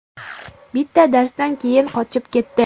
Bitta darsdan keyin qochib ketdi.